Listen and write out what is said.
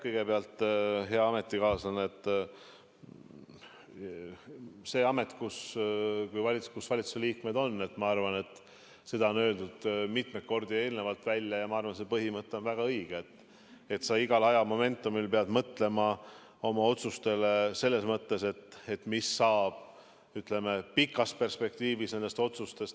Kõigepealt, hea ametikaaslane, see amet, mis valitsuse liikmetel on – ma arvan, et seda on öeldud mitmeid kordi eelnevalt välja ja ma arvan, et see põhimõte on väga õige –, tähendab, et sa igal ajamomendil pead mõtlema oma otsustele selles mõttes, mis saab nendest pikas perspektiivis.